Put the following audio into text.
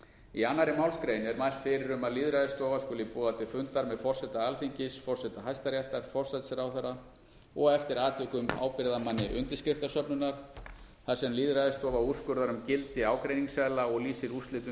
í annarri málsgrein er mælt fyrir um að lýðræðisstofa skuli boða til fundar með forseta alþingis forseta hæstaréttar forsætisráðherra og eftir atvikum ábyrgðarmanni undirskriftasöfnunar þar sem lýðræðisstofa úrskurðar um gildi ágreiningsseðla og lýsir úrslitum